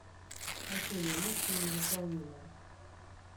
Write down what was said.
афина миссия невыполнима